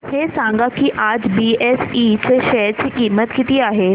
हे सांगा की आज बीएसई च्या शेअर ची किंमत किती आहे